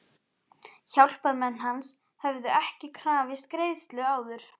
Hjálparmenn hans höfðu ekki krafist greiðslu áður.